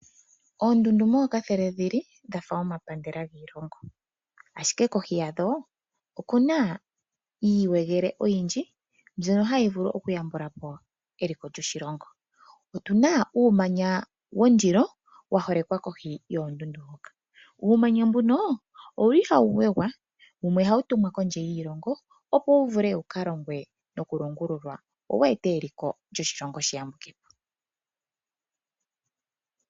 Oondundu mookathele dhi li dha fa omapandela giilongo. Ashike kohi yadho oku na iiwegele oyindji mbyono hayi vulu okuyambula po eliko lyoshilongo. Otu na uumanya wondilo wa holekwa kohi yoondundu hoka. Uumanya mbuno owu li hawu wegwa, wumwe hawu tumwa kondje yiilongo, opo wu vule wu ka longwe nokulongululwa, opo wu ete eliko lyoshilongo li yambuke po.